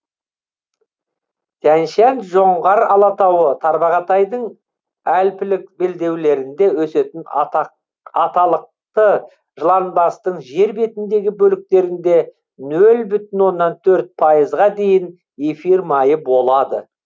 тянь шань жоңғар алатауы тарбағатайдың альпілік белдеулерінде өсетін аталықты жыланбастың жер бетіндегі бөліктерінде нөл бүтін оннан төрт пайызға дейін эфир майы болады